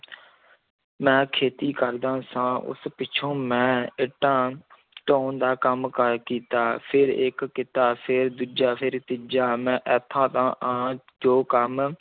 ਮੈਂ ਖੇਤੀ ਕਰਦਾ ਸਾਂ ਉਸ ਪਿੱਛੋਂ ਮੈਂ ਇੱਟਾਂ ਢੋਣ ਦਾ ਕੰਮ ਕਾਰ ਕੀਤਾ, ਫਿਰ ਇੱਕ ਕੀਤਾ, ਫਿਰ ਦੂਜਾ, ਫਿਰ ਤੀਜਾ ਮੈਂ ਇੱਥੇ ਦਾ ਆਂ ਜੋ ਕੰਮ